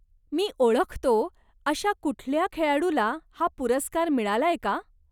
मी ओळखतो अशा कुठल्या खेळाडूला हा पुरस्कार मिळालाय का?